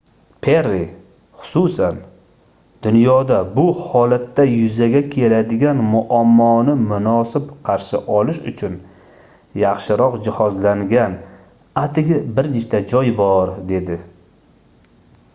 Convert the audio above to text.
perri xususan dunyoda bu holatda yuzaga keladigan muammoni munosib qarshi olish uchun yaxshiroq jihozlangan atigi bir nechta joy bor - dedi